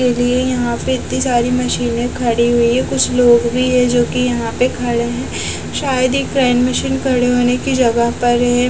के लिए यहाँ पे इतनी सारी मशीनें खड़ी हुई हैं कुछ लोग भी हैं जो कि यहाँ पे खड़े हैं शायद ये क्रेन मशीन खड़ा होने की जगह पर है।